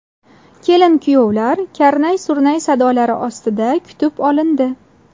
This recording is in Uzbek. Kelin-kuyovlar karnay-surnaylar sadolari ostida kutib olindi.